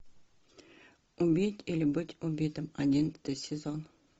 убить или быть убитым одиннадцатый сезон